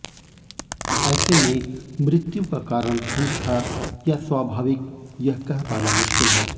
ऐसे में मृत्यु का कारण ठंड था या स्वभाविक यह कह पाना मुश्किल है